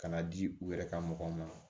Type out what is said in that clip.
Ka n'a di u yɛrɛ ka mɔgɔw ma